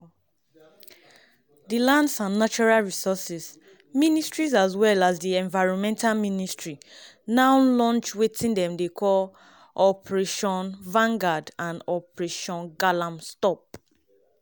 di lands and natural resources ministry as well as di environment ministry now launch wetin dey call #operationvangard and #operationgalamstop.